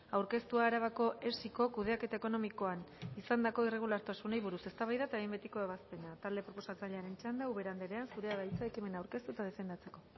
aurkeztua arabako esiko kudeaketa ekonomikoan izandako irregulartasunei buruz eztabaida eta behin betiko ebazpena talde proposatzailearen txanda ubera andrea zurea da hitza ekimena aurkeztu eta defendatzeko